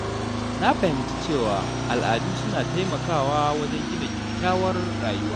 Na fahimci cewa al’adu suna taimakawa wajen gina kyakkyawar rayuwa.